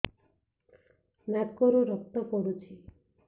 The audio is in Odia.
ନାକରୁ ରକ୍ତ ପଡୁଛି